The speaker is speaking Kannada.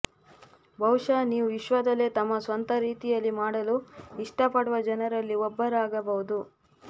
ಬಹುಶಃ ನೀವು ವಿಶ್ವದಲ್ಲೇ ತಮ್ಮ ಸ್ವಂತ ರೀತಿಯಲ್ಲಿ ಮಾಡಲು ಇಷ್ಟಪಡುವ ಜನರಲ್ಲಿ ಒಬ್ಬರಾಗಬಹುದು